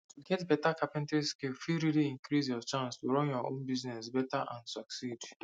to get better carpentry skills fit really increase your chances to run your own business better and succed